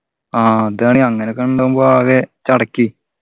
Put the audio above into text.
ആഹ് അതാണ് അങ്ങനൊക്കെ ഉണ്ടാവുമ്പോ ആകെ ചടയ്ക്ക്